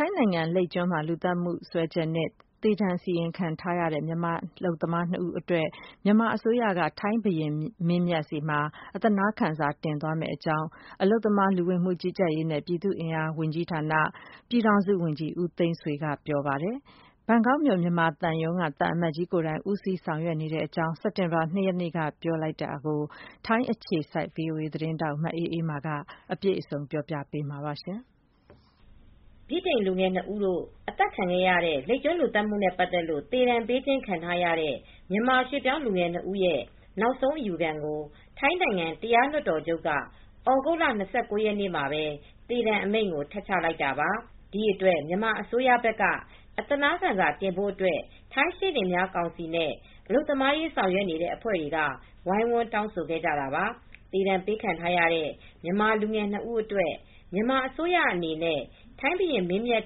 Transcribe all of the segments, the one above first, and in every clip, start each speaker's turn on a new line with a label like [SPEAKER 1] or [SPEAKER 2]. [SPEAKER 1] ိုင်းနိုင်ငံ လိပ်ကျွန်းလူသတ်မူနဲ့ ပတ်သက်လို့ သေဒဏ်ပေးခံထားရတဲ့ မြန်မာအလုပ်သမားနှစ်ဦး အတွက် မြန်မာအစိုးရအနေနဲ့ ထိုင်းဘုရင်မင်းမြတ်ထံ အသနားခံစာတင်သွားမယ်လို့ အလုပ်သမား၊ လူဝင်မှုကြီးကြပ်ရေးနှင့် ပြည်သူ့အင်အားဝန်ကြီးဌာန၊ ပြည်ထောင်စုဝန်ကြီး ဦးသိန်းဆွေက စက်တင်ဘာလ ၂ရက်နေ့မှာပြောဆိုခဲ့ပါတယ်။ ထိုင်းနိုင်ငံ၊ ဘန်ကောက်မြို့မှာရှိတဲ့ မြန်မာသံရုံးက သံအမတ်ကြီးကိုယ်တိုင် ဒီကိစ္စကို ဦးဆောင် လုပ်ကိုင်နေပြီလို့ ပြောပါတယ်။ ဒီအကြောင်း ထိုင်းအခြေစိုက် voa သတင်းထောက် မအေးအေးမာက သတင်းပေးပို့ ထားပါတယ်။
[SPEAKER 2] ဗြိတိန်လူငယ်၂ဦးတို့အသတ်ခံရတဲ့လိပ်ကျွန်းလူသတ်မူနဲ့ပတ်သက်လို့ သေဒဏ်ပေးခြင်းခံထားရတဲ့ မြန်မာရွှေ့ပြောင်း လူငယ်၂ဦးရဲ့ နောက်ဆုံးအယူခံကို ထိုင်းနိုင်ငံတရားလွှတ်တော်ချုပ်က သြဂုတ်လ၂၉ ရက်နေ့မှာပဲ သေဒဏ်အမိန့်ကို ထပ်ချလိုက်တာပါ။ ဒီအတွက် မြန်မာအစိုးရဘက်က သနားခံစာတင်ဖို့ အတွက် ထိုင်းရှေနေများကောင်စီနဲ့ အလုပ်သမားရေးဆောင်ရွက်နေတဲ့ အဖွဲတွေက ဝိုင်းဝန်းတောင်းဆိုခဲ့တာပါ။ သေဒဏ်ပေးခံထားရတဲ့ မြန်မာလူငယ် ၂ ဦးအတွက် မြန်မာအစိုးရအနေနဲ့ ထိုင်းဘုရင်မင်းမြတ်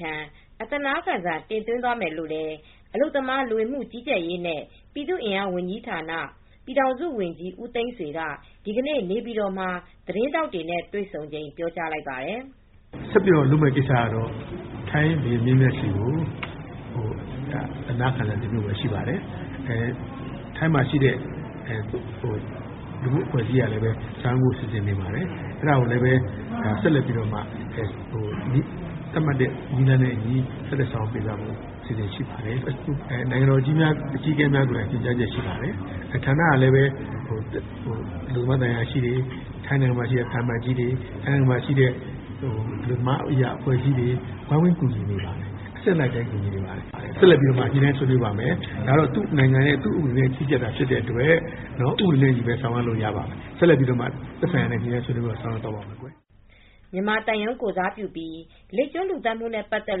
[SPEAKER 2] ထံ အသနားခံစာ တင်သွင်းသွားမယ်လို့ အလုပ်သမား၊ လူဝင်မှုကြီးကြပ်ရေးနှင့် ပြည်သူ့အင်အား ဝန်ကြီးဌာန ပြည်ထောင်စုဝန်ကြီ း ဦးသိန်းဆွေက ဒီကနေ့ နေပြည်တော်မှာ သတင်းထောက်တွေနဲ့ တွေဆုံချိန် ပြောကြားလိုက်ပါတယ်။
[SPEAKER 3] “ဆက်ပြီးတော့လုပ်မယ့် ကိစ္စကတော့ ထိုင်းဘုရင်မင်းမြတ်ဆီကို အသနားခံစာတင်ဖို့ပဲရှိပါတယ်။ ထိုင်းမှာရှိတဲ့ လူမူအဖွဲ့အစည်းကလည်း ဆောင်ရွက်ဖို့ စီစဉ်နေပါတယ်။ အဲဒါကိုလည်း ဆက်ပြီးတော့မှ နည်းလမ်းနဲ့အညီ ဆောင်ရွက်ပေးသွားဖို့ အစီအစဉ်ရှိပါတယ်လို့။ နိုင်ငံတော် အကြီးအကဲများရဲ ့ညွန်ကြားချက်လည်းရှိပါတယ်။ ဌာနကလည်း အလုပ်သမားသံအရာရှိတွေ ထိုင်းနိုင်ငံမှာရှိတဲ့ သံအမတ်ကြီးတွေ၊ အလုပ်သမားသံအရာရှိတွေ အလုပ်သမားရေးရာအဖွဲ့အစည်းတွေ ဝိုင်းဝန်းကူညီနေပါတယ်။ အဆင့်လိုက်လည်း ကူညီနေပါတယ် ဆက်လက်ပြီးတော့လည်း ညှိနှိုင်းဆောင်ရွက်ပါမယ်။ ဒါကတော့ သူ့နိုင်ငံရဲ့ဥပဒေနဲ့ လုပ်တာဖြစ်တဲ့အတွက် သူ့ဥပဒေနဲ့ အညီ ပဲဆောင်ရွက်လို့ ရပါတယ်။ ဆက်လက်ပြီး သက်ဆိုင်ရာနဲ့ ဆက်လက်ဆောင်ရွက် ပါမယ်”
[SPEAKER 2] မြန်မာသံရုံးကိုယ်စားပြုပြီးလိပ်ကျွန်း လူသတ်မူနဲ့ ပတ်သက်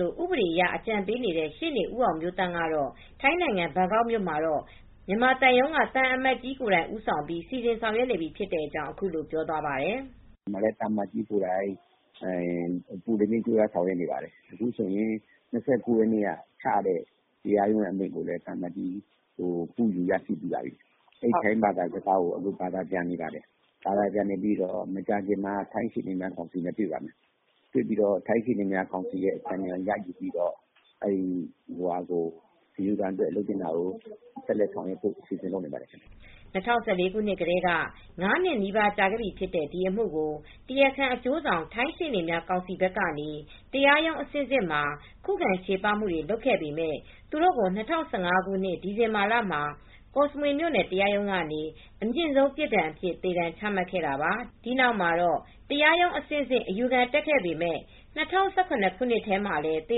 [SPEAKER 2] လို့ ဥပဒေအရအကြံပေးနေတဲ့ ရှေနေဦးအောင်မျိုးသန့် ကတော့ ထိုင်းနိုင်ငံ၊ ဘန်ကောက်မြို့ မှာတော့ မြန်မာသံရုံးက သံအမတ်ကြီး က ဦးဆောင်ပြီး စီစဉ်ဆောင်ရွက်နေပြီဖြစ်တဲ့ အကြောင်း အခုလိုပြောသွားပါတယ်။
[SPEAKER 4] “သံအမတ်ကြီးကိုယ်တိုင်အပူးတပြင်း ကြိုးပမ်းဆောက်ရွက်နေပါတယ် ၂၉ရက်နေ့က ချလိုက်တဲ့ အမိန့်ကို ကူးယူပြီး ထိုင်းဘာသာစကားကနေ ဘာသာပြန်နေပါတယ်။ မကြာခင်မှာ ထိုင်းရှေ့နေများကောင်စီနဲ့ တွေ့ပါမယ် ထိုင်းရှေနေများ ကောင်စီရဲ့ အကြံဉာဏ်ယူပြီး ဆက်လုပ်ဆောင်ပါမယ်” ၂၀၁၄ခု
[SPEAKER 2] နှစ်ကတည်းက ၅ နှစ်နီးပါးကြာခဲ့ပြီဖြစ်တဲ့ ဒီအမူကို တရားခံအကျိုးဆောင် ထိုင်းရှေနေများ ကောင်စီဘက်ကနေ တရားရုံး အဆင့်ဆင့်မှာ ခုခံချေပမူတွေ လုပ်ခဲ့ပေမဲ့သူတို့ကို ၂၀၁၅ခုနှစ် ဒီဇင်ဘာလမှာ ကော့စမွေမြို့နယ်တရားရုံးကနေ အမြင့်ဆုံး ပြစ်ဒဏ်ဖြစ်တဲ့ သေဒဏ် ချမှတ်ခဲ့တာပါ။ ဒီနောက်မှာတော့ တရားရုံးအဆင့်ဆင့် အယူခံတက်ခဲ့ပေမဲ့ ၂၀၁၇ခုနှစ်မှာလည်း သေ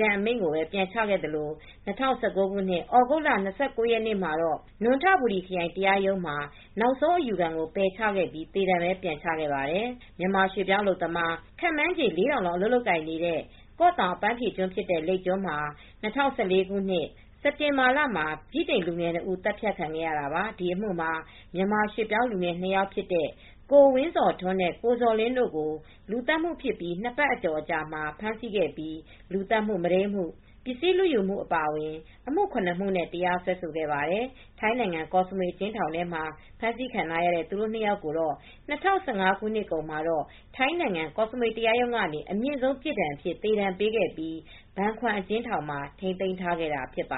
[SPEAKER 2] ဒဏ်အမိန့်ကိုပဲ ပြန်ချခဲ့သလို ၂၀၁၉ခုနှစ် သြဂုတ်လ၂၉ရက်နေ့မှာ နွန်ထဘူရီခရိုင် တရားရုံးမှာ နောက်ဆုံးအယူခံကို ပယ်ချခဲ့ပြီး သေဒဏ်ပဲပြန်ချခဲ့ပါတယ်။ မြန်မာရွှေ့ပြောင်းအလုပ်သမား ခန့်မှန်းချေ ၄,၀၀၀ လောက် အလုပ်လုပ်ကိုင်နေတဲ့ ကော့တောင်အပန်းဖြေကျွန်းဖြစ်တဲ့ လိပ်ကျွန်းမှာ ၂၀၁၄ ခုနှစ် စက်တင်ဘာလမှာ ဗြိတိန်လူငယ် ၂ ဦးသတ်ခံခဲ့ရတာပါ။ ဒီအမှုမှာ မြန်မာရွှေ့ပြောင်းလူငယ် ၂ ယောက်ဖြစ်တဲ့ ကိုဝင်းဇော်ထွန်းနဲ့ ကိုဇော်လင်းတို့ကိုလူသတ်မူဖြစ်ပြီး ၂ပတ်ကျော်အကြာမှာ ဖမ်းဆီးခဲ့ပြီး လူသတ်မှု၊ မုဒိမ်းမှု၊ ပစ္စည်းလူယူမှု အပါအဝင် အမှု ၇ မူနဲ့ တရားစွဲခဲ့ပါတယ်။ ထိုင်းနိုင်ငံ ကော့စမွေ အကျဉ်းထောင်မှာ ဖမ်းဆီးခံထားရတဲ့ သူတို့ ၂ ယောက်ကိုတော့ ၂၀၁၅ ခုနှစ်ကုန်မှာတော့ ထိုင်းနိုင်ငံ ကော့စမွေ တရားရုံးကနေ အမြင့်ဆုံးပြစ်ဒဏ်အဖြစ် သေဒဏ်ပေးခဲ့ပြီး ဘန်ခွမ်အကျဉ်းထောင်မှာ ထိန်းသိမ်းထားခဲ့တာ ဖြစ်ပါ